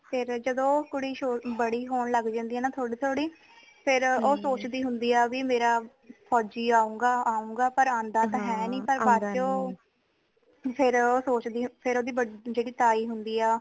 ਫੇਰ ਜਦੋ ਕੁੜੀ ਬੜੀ ਹੋਣ ਲਗ ਜਾਂਦੀ ਹੈ ਨਾ ਥੋੜੀ ਥੋੜੀ ਫੇਰ ਓ ਸੋਚਦੀ ਹੁੰਦੀ ਹੈ ਭੀ ਮੇਰਾ ਫੌਜ਼ੀ ਆਊਗਾ ਆਊਂਗਾ ਪਰ ਆਂਦਾ ਤਾ ਹੈ ਨੀ ਪਰ ਬਾਅਦ ਚੋ ਫੇਰ ਓ ਸੋਚਦੀ ਫੇਰ ਓਦੀ ਜੇੜੀ ਤਾਈਂ ਹੁੰਦੀ ਆ